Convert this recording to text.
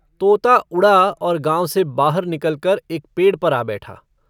तोता उड़ा और गाँव से बाहर निकलकर एक पेड़ पर आ बैठा।